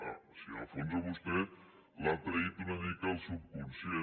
o sigui en el fons a vostè l’ha traït una mica el subconscient